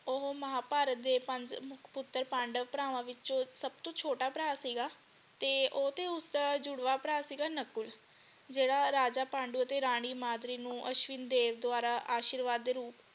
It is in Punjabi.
ਉਹ ਮਹਾਭਾਰਤ ਦੇ ਪੰਜ ਮੁਖ ਪੁੱਤਰ ਪਾਂਡਵ ਭਰਾਵਾਂ ਵਿੱਚੋ ਸਭ ਤੋਂ ਛੋਟਾ ਭਰਾ ਸੀਗਾ ਤੇ ਉਹ ਤੇ ਉਸਦਾ ਜੁੜਵਾ ਭਰਾ ਸੀਗਾ ਨਕੁਲ ਜਿਹੜਾ ਰਾਜਾ ਪਾਂਡਵ ਅਤੇ ਰਾਣੀ ਮਾਦਰੀ ਨੂੰ ਅਸ਼ਵਿਨ ਦੇ ਦੁਆਰਾ ਅਸ਼ੀਰਵਾਦ ਦੇ ਰੂਪ।